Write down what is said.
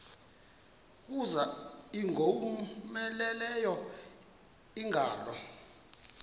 kuza ingowomeleleyo ingalo